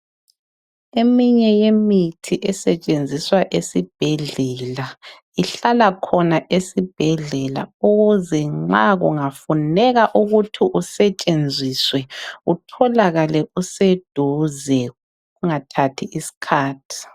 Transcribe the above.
Eminye yemithi esetshenziswa esibhedlela uhlala khona esibhedlela ukuze nxa kungafuneka ukuthi usetshenziswe utholakale useduze Ungathathi isikhathi.